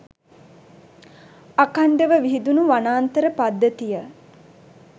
අඛණ්ඩව විහිදුණු වනාන්තර පද්ධතිය